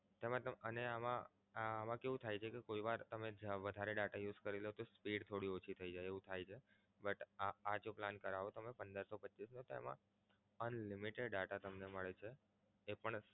અને આમા આમા કેવું થાય છે કે કોઈ વાર તમે વધારે data use કરી લો તો speed થોડી ઓછી થઈ જાય છે એવું થાય છે but આ જો plan કરાવો તમે પંદર સો પચ્ચીસનો તો એમા unlimited data તમને મળે છે. જે પણ